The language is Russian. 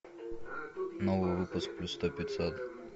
новый выпуск плюс сто пятьсот